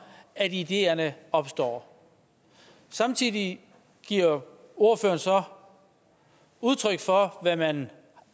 ideerne opstår samtidig giver ordføreren så udtryk for hvad man